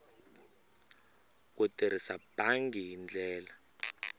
ku tirhisa bangi hi ndlela